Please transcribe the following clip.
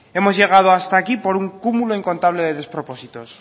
hemos llegado hasta aquí por un cúmulo incontable de despropósitos